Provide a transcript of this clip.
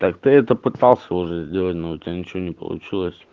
так ты это пытался уже сделать но у тебя ничего не получилось